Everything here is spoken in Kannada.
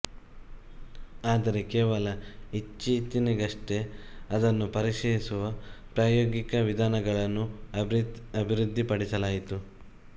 ಆದರೆ ಕೇವಲ ಇತ್ತೀಚೆಗಷ್ಟೇ ಅದನ್ನು ಪರೀಕ್ಷಿಸುವ ಪ್ರಾಯೋಗಿಕ ವಿಧಾನಗಳನ್ನು ಅಭಿವೃದ್ಧಿಪಡಿಸಲಾಯಿತು